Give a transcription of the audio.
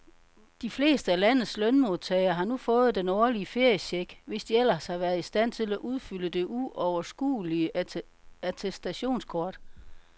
De fleste af landets lønmodtagere har nu fået den årlige feriecheck, hvis de ellers har været i stand til at udfylde det uoverskuelige attestationskort.